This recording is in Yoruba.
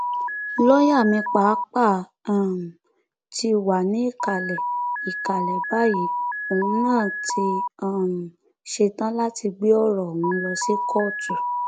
lọọyà mi pàápàá um ti wá ní ìkàlẹ ìkàlẹ báyìí òun náà ti um ṣetán láti gbé ọrọ ọhún lọ sí kóòtù